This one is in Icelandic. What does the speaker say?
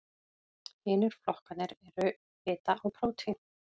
hinir flokkarnir eru fita og prótín